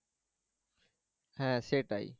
হ্যাঁ সেটাই